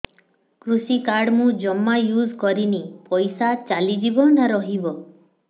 କୃଷି କାର୍ଡ ମୁଁ ଜମା ୟୁଜ଼ କରିନି ପଇସା ଚାଲିଯିବ ନା ରହିବ